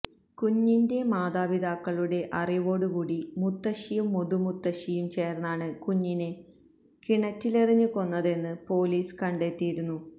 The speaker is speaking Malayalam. കുഞ്ഞിന്റെ മാതാപിതാക്കളുടെ അറിവോടുകൂടി മുത്തശ്ശിയും മുതുമുത്തശ്ശിയും ചേർന്നാണ് കുഞ്ഞിനെ കിണറ്റിലെറിഞ്ഞ് കൊന്നതെന്ന് പൊലീസ് കണ്ടെത്തിയിരുന്നു